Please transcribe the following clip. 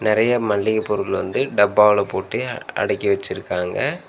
நெறையா மல்லிக பொருள் வந்து டப்பால போட்டு அடக்கி வெச்சிருக்காங்க.